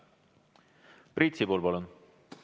Priit Sibul, palun!